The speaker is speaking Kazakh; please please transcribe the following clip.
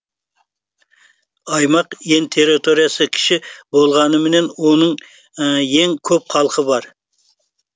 аймақ ең территориясы кіші болғанымен оның ең көп халқы бар